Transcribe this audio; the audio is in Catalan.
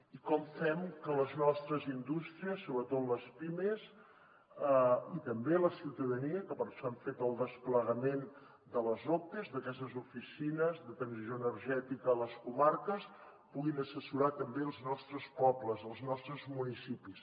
i com fem que les nostres indústries sobretot les pimes i també la ciutadania que per això hem fet el desplegament de les ote d’aquestes oficines de transició energètica a les comarques perquè puguin assessorar també els nostres pobles els nostres municipis